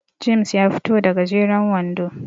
James ya fito da gajeren wando